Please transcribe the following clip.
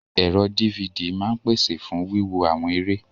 Ẹ̀rọ DVD máa ń pese fún wíwo àwọn eré.